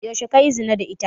Yaushe kayi zina da ita?